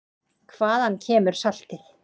Hvaðan kemur saltið?